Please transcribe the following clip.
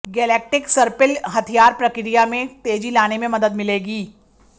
Galactic सर्पिल हथियार प्रक्रिया में तेजी लाने में मदद मिलेगी